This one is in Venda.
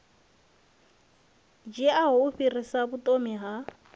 dziaho u fhirsisa vhuthomi ha